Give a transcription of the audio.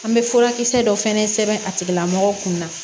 An bɛ furakisɛ dɔ fɛnɛ sɛbɛn a tigilamɔgɔw kun na